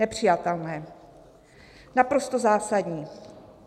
Nepřijatelné, naprosto zásadní.